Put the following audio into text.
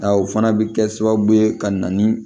A o fana bɛ kɛ sababu ye ka na ni